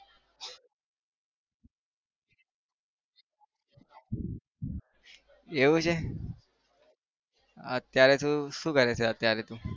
એવું છે? અત્યારે તું શું કરે છે અત્યારે તું?